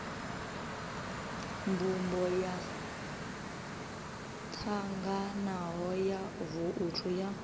mbumbo yotanganaho ya vouthu ya